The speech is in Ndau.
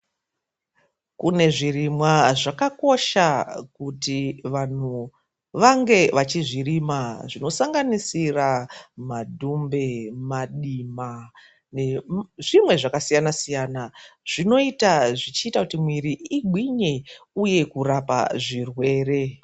Kune zvirimwa zvakakosha kuti vanhu vange vachizvirima zvinosanganisira madhumbe, madima nezvimwe zvakasiyana siyana zvinoita zvichiita kuti mwiri igwinye uye kurapa zvirwere.